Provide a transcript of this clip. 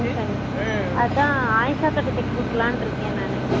அதன் ஆயுஷா அக்கா கிட்ட தெக்க குடுக்கலாண்டு இருக்கான் நானு